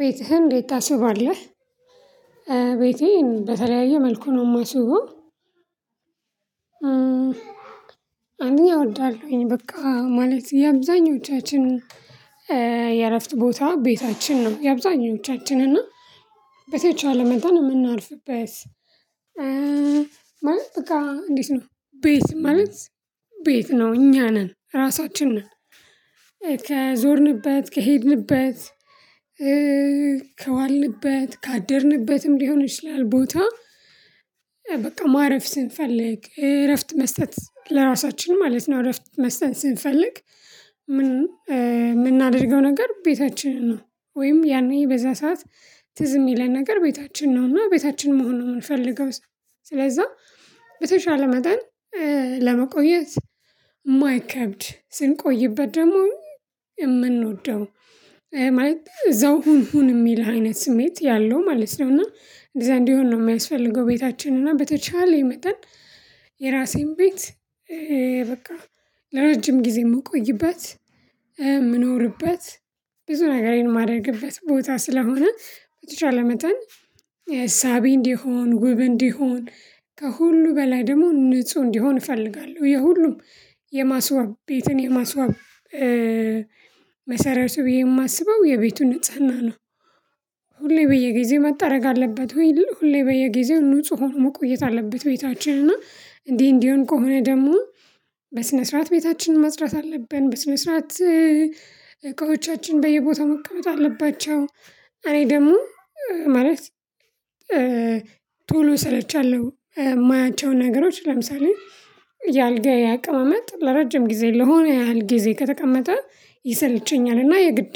ቤትህን እንዴት ታስውባለህ? ቤቴን በተለያየ መልኩ ነው የማስበው አንደኛ እወዳለሁኝ በቃ ማለት የአብዛኞቻችን የእረፍት ቦታ ቤታችን ነው የአብዛኞቻችን እና በተቻለ መጠን እምናርፍበት ማለት በቃ እንዴት ነው ቤት ማለት ቤት ነው እኛ ነን ራሳችን ነን ከዞርንበት ከሄድንበት ከዋልንበት ካደርንበትም ሊሆን ይችላል ቦታ በቃ ማረፍ ስንፈልግ እረፍት መስጠት ለራሳችን ማለት ነው እረፍት መስጠት ስንፈልግ የምናደርገው ነገር ቤታችን ነው ወይም ያኔ በዛ ሰዓት ትዝ የሚለን ነገር ቤታችን ነው እና ቤታችን መሆን ነው የምንፈልገው ስለዛ በተቻለ መጠን ለመቆየት የማይከብድ ስንቆይበት ደግሞ የምንወደው ማልት እዛው ሁን ሁን የሚልህ አይነት ስሜት ያለው ማለት ነው እና እንደዛ እንዲሆን ነው የሚያስፈልገው ቤታችን እና በተቻለ የመጠን የራሴን ቤት በቃ ለረጅም ጊዜ የምቆይበት ምንኖርበት ብዙ ነገር የማደርግበት ቦታ ስለሆነ በተቻለ መጠን ሳቢ እንዲሆን ውብ እንዲሆን ከሁሉ በላይ ደግሞ ንጹህ እንዲሆን እፈልጋለሁ የሁሉም የማስዋብ ቤትን የማስዋብ መሰረቱ በየ የማስበው የቤቱን ንጽህና ነው ሁሌ በየጊዜው መጠረግ አለበት ወይ ሁሌ በየጊዜው ንጹህ ሆኖ መቆየት አለበት ቤታችን እና እንዲህ እንዲህ ከሆነ ደግሞ በስነ ስርዓት ቤታችን መስራት አለብን በስነ ስርዓት እቃዎቻችን በየቦታው መቀመጥ አለባቸው እኔ ደግሞ ማለት ቶሎ እሰለቻለሁ የማያቸውን ነገሮች ለምሳሌ ያልጋየ አቅማመጥ ለረጅም ጊዜ ለሆነ ያህል ጊዜ ከተቀመጠ ይሰለቸኛል እና የግድ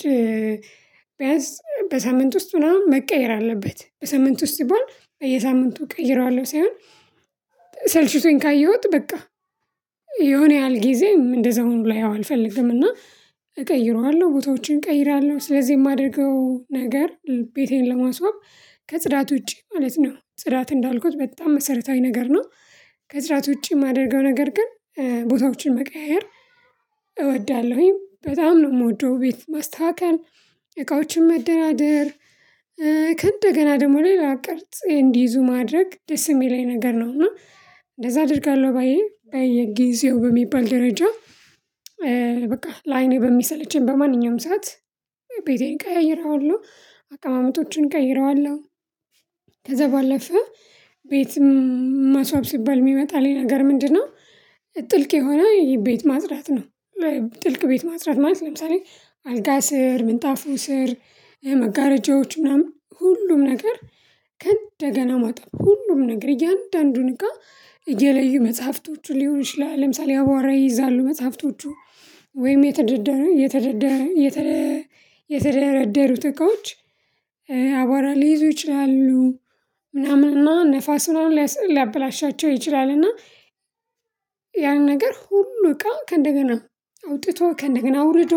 ቢያንስ በሳምንት ውስጥ ምናምን መቀየር አለበት በሳምንት ውስጥ ሲባል በየሳምንቱ እቀይረዋለሁ ሳይሆን ሰልችቶኝ ካየሁት በቃ የሆነ ያህል ጊዜ እንደዛውም ላይ ያው አልፈልግም እና እቀይረዋለሁ ቦታዎችን እቀይራለሁ ስለዚህ የማደርገው ነገር ቤቴን ለማስወቅ ከጽዳት ውጪ ማለት ነው ጽዳት እንዳልኩት በጣም መሰረታዊ ነገር ነው ከጽዳት ውጪ የማደርገው ነገር ግን ቦታዎችን መቀያየር እወዳለሁኝ በጣም ነው የምወደው ቤት ማስተካከል እቃዎችን መደራደር ከእንደገና ደግሞ ሌላ ቅርጽ እንዲይዙ ማድረግ ደስ የሚለኝ ነገር ነው እና እንደዛ አደርጋለሁ ባዬ በየጊዜው በሚባል ደረጃ በቃ ለአይኔ በሚሰለቸኝ በማንኛውም ሰዓት ቤቴን እቀያይረዋለሁ አቀማመጦችን ቀይረዋለሁ ከዛ ባለፈ ቤት ማስዋብ ሲባል የሚመጣልኝ ነገር ምንድነው ጥልቅ የሆነ የቤት ማጽዳት ነው ጥልቅ ቤት ማጽዳት ማለት ለምሳሌ አልጋ ስር ምንጣፉ ስር መጋረጃዎች ምናምን ሁሉም ነገር ከእንደገና ማጣት ሁሉም ነገር እያንዳንዱን እቃ እየለዩ መጽሐፍቶቹ ሊሆን ይችላል ለምሳሌ አቧራ ይይዛሉ መጽሐፍቶቹ ወይም የተደደረ የተደደረ የተደረደረ የተደረደሩት እቃዎች አቧራ ሊይዙ ይችላሉ ምናምን ነፋስ ምናምን ሊያበላሻቸው ይችላል እና ያንን ነገር ሁሉ እቃ ከእንደገና አውጥቶ ከእንደገና አውርዶ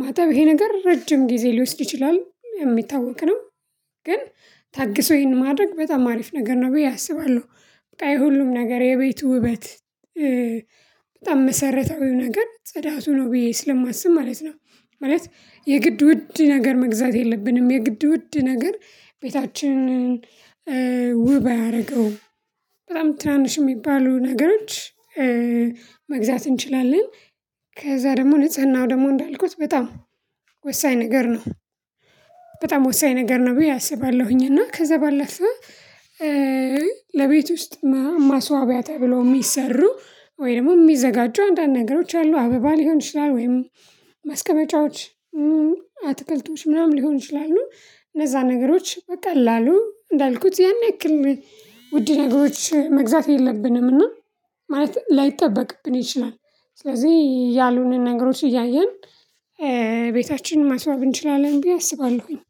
ማጠብ ይሄ ነገር ረጅም ጊዜ ሊወስድ ይችላል የሚታወቅ ነው ግን ታግሶ ይሄን ማድረግ በጣም አሪፍ ነገር ነው ብዬ አስባለሁ በቃ የሁሉም ነገር የቤቱ ውበት በጣም መሰረታዊው ነገር ጽዳቱ ነው ብዬ ስለማስብ ማለት ነው ማለት የግድ ውድ ነገር መግዛት የለብንም የግድ ውድ ነገር ቤታችንን ውብ አያደርገውም በጣም ትናንሽ የሚባሉ ነገሮች መግዛት እንችላለን ከዛ ደግሞ ንጽህናው ደግሞ እንዳልኩት በጣም ወሳኝ ነገር ነው በጣም ወሳኝ ነገር ነው ብዬ አስባለሁኝ እና ከዛ ባለፈ ለቤት ውስጥ ማስዋቢያ ተብሎ የሚሰሩ ወይ ደግሞ የሚዘጋጁ አንዳንድ ነገሮች አሉ አበባ ሊሆን ይችላል ወይም ማስቀመጫዎች አትክልቶች ምናምን ሊሆን ይችላሉ እነዛን ነገሮች በቀላሉ እንዳልኩት ያን ያክል ውድ ነገሮች መግዛት የለብንም እና ማለት ላይጠበቅብን ይችላል ስለዚህ ያልሆነ ነገሮች እያየን ቤታችን ማስዋብ እንችላለን ብዬ አስባለሁኝ